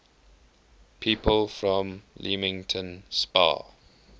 people from leamington spa